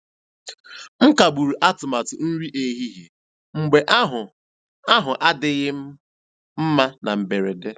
M kagburu atụmatụ nri ehihie mgbe ahụ ahụ adịghị m mma na mberede.